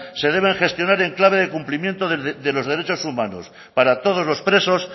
se deben gestionar en clave de cumplimiento de los derechos humanos para todos los presos